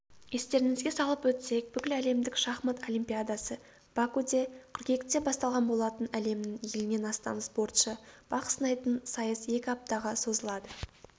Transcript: естеріңізге салып өтсек бүкіләлемдік шахмат олимпиадасы бакуде қыркүйекте басталған болатын әлемнің елінен астам спортшы бақ сынайтын сайыс екі аптаға созылады